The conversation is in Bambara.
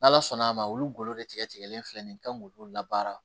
N'ala sɔnn'a ma olu ggolo de tigɛ tigɛlen filɛ nin ye n kan k'olu labaara